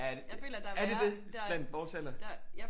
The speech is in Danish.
Er det det blandt vores alder